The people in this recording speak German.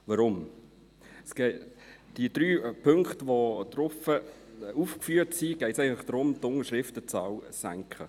Weshalb? – In den drei Punkten, die aufgeführt sind, geht es eigentlich darum, die Unterschriftenzahl zu senken.